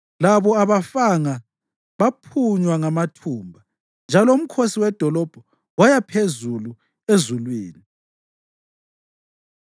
Labo abangafanga baphunywa ngamathumba, njalo umkhosi wedolobho waya phezulu ezulwini.